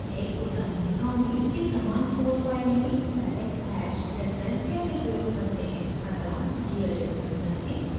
मैं एक उदाहरण दिखाऊँगी कि समान कोड फाइल में direct hash reference कैसे प्रयोग करते हैं